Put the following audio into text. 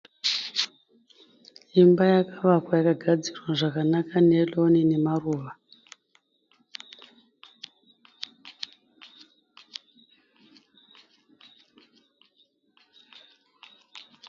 Imba yakavakwa yakagadzirwa zvakanaka neroni nemaruva